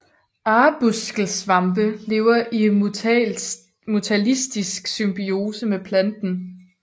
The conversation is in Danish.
Arbuskelsvampe lever i mutualistisk symbiose med planten